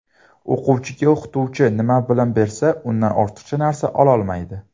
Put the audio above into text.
O‘quvchiga o‘qituvchi nima bilim bersa, undan ortiqcha narsa ololmaydi.